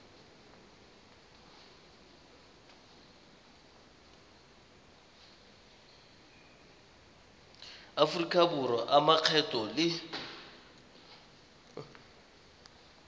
aforika borwa a makgetho le